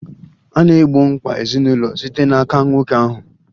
A na-egbo mkpa ezinụlọ site n'aka nwoke ahụ.